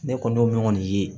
Ne kɔni y'o min kɔni ye